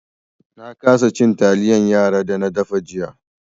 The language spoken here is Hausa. Na kasa cin taliyan yara da na dafa jiya.